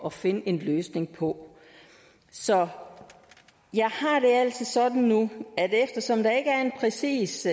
at finde en løsning på så jeg har det altså sådan nu at eftersom der ikke er en præcis